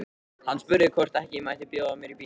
Hann spurði hvort ekki mætti bjóða mér í bíó.